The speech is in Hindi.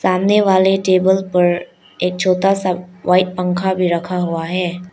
सामने वाले टेबल पर एक छोटा सा व्हाइट पंखा भी रखा हुआ है।